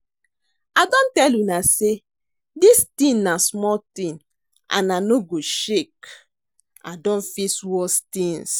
I don tell una say dis thing na small thing and I no go shake,I don face worse things